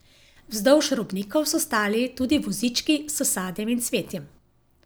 Vzdolž robnikov so stali tudi vozički s sadjem in cvetjem.